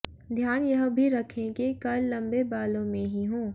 ध्यान यह भी रखें कि कर्ल लंबे बालों में ही हों